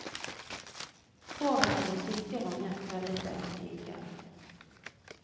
Håret er blitt tykkere og mer krøllete enn tidligere.